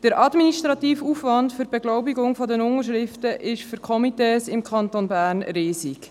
Der administrative Aufwand für die Beglaubigung der Unterschriften ist für die Komitees im Kanton Bern riesig.